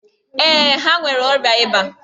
Ee, ha nwere ọrịa ịba.